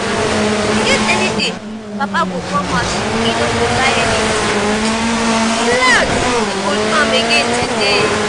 e get any day papa go come house e no go buy anything? relax im go do am again today